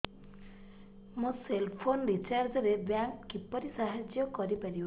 ମୋ cell phone recharge ରେ bank କିପରି ସାହାଯ୍ୟ କରିପାରିବ